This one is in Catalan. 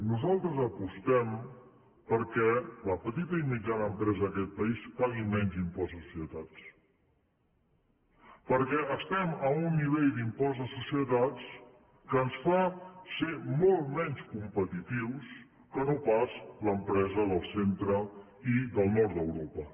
nosaltres apostem perquè la petita i mitjana empresa d’aquest país pagui menys impost de societats perquè estem a un nivell d’impost de societats que ens fa ser molt menys competitius que no pas l’empresa del centre i del nord d’europa